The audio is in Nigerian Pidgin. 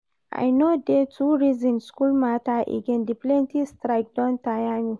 I no dey too reason school matter again, the plenty strike don tire me